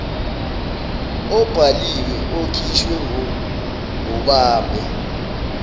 obhaliwe okhishwe ngobambe